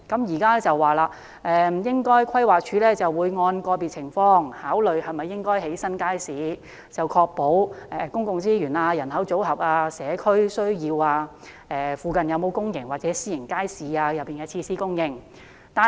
現時規劃署說會按個別情況，考慮應否興建新街市，考慮因素包括公共資源、人口組合、社區需要、鄰近有否公營或私營街市設施等。